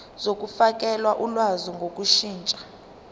zokufakela ulwazi ngokushintsha